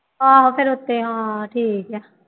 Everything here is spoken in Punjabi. ਆਹੋ ਫਿਰ ਉੱਤੇ ਹਾਂ ਠੀਕ ਹੈ